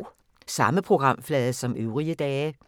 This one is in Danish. Samme programflade som øvrige dage